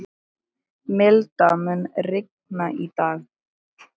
Milda, mun rigna í dag?